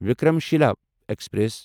Vikramshila express